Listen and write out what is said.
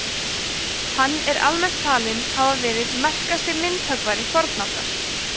hann er almennt talinn hafa verið merkasti myndhöggvari fornaldar